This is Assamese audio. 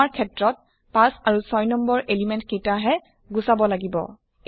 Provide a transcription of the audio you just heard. আমাৰ ক্ষেত্ৰত ৫ আৰু ৬ নং এলিমেন্ট কেইটা হে গুচাব লাগিব